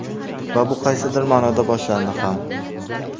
Va bu qaysidir ma’noda boshlandi ham.